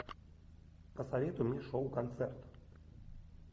посоветуй мне шоу концерт